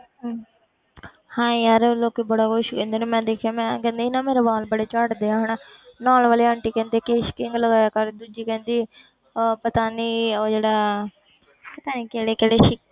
ਹਮ ਹਾਂ ਯਾਰ ਲੋਕੀ ਬੜਾ ਕੁਛ ਕਹਿੰਦੇ ਨੇ ਮੈਂ ਦੇਖਿਆ ਮੈਂ ਕਹਿੰਦੀ ਸੀ ਨਾ ਮੇਰੇ ਵਾਲ ਬੜੇ ਝੜਦੇ ਆ ਹਨਾ ਨਾਲ ਵਾਲੇ ਆਂਟੀ ਕਹਿੰਦੇ ਕੇਸ਼ ਕਿੰਗ ਲਗਾਇਆ ਕਰ ਦੂਜੀ ਕਹਿੰਦੀ ਅਹ ਪਤਾ ਨੀ ਉਹ ਜਿਹੜਾ ਪਤਾ ਨੀ ਕਿਹੜੇ ਕਿਹੜੇ